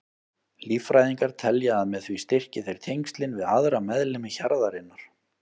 Líffræðingar telja að með því styrki þeir tengslin við aðra meðlimi hjarðarinnar.